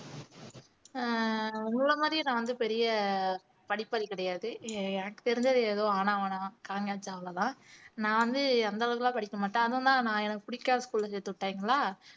ஆஹ் உங்களை மாதிரியே நான் வந்து பெரிய படிப்பாளி கிடையாது எ எனக்கு தெரிஞ்சது ஏதோ ஆனா ஆவன்னா காகங்ச்ச அவ்வளவுதான் நான் வந்து அந்த அளவுக்கு எல்லாம் படிக்க மாட்டேன் தான் நான் எனக்கு பிடிக்காத school ல சேர்த்துவிட்டாங்களா